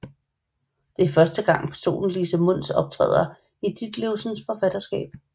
Det er første gang hovedpersonen Lise Mundus optræder i Ditlevsens forfatterskab